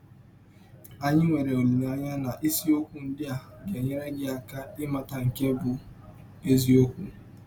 Anyị nwere ọlileanya na isiọkwụ ndị a ga - enyere gị aka ịmata nke bụ́ eziọkwụ.